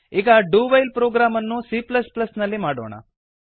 ಈಗ do while program ಅನ್ನು c ನಲ್ಲಿ ಮಾಡೋಣ